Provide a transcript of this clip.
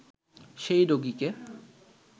সেই রোগিকে